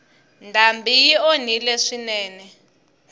ndhambi yi onhile swinene